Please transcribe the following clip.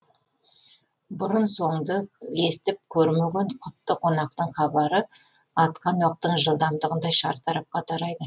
бұрын соңды естіп көрмеген құтты қонақтың хабары атқан оқтың жылдамдығындай шартарапқа тарайды